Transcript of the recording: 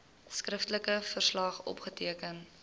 skriftelike verslag opgeteken